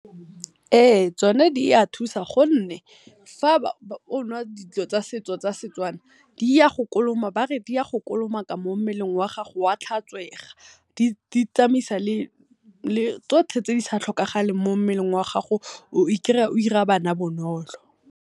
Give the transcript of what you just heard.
Ee, tsone di a thusa gonne fa o nwa dilo tsa setso tsa seTswana di a go ba re di a go kolomaka mo mmeleng wa gago wa tlhatswega, di tsamayisa le tsotlhe tse disa tlhokegeng mo mmeleng wa gago o i kry-a o ira bana bonolo.